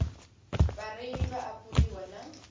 vhareili vha a fhuriwa na